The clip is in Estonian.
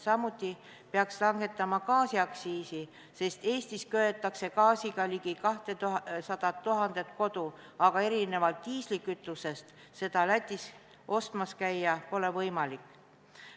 Samuti peaks langetama gaasiaktsiisi, sest Eestis köetakse gaasiga ligi 200 000 kodu, aga erinevalt diislikütusest seda Lätis ostmas käia pole võimalik.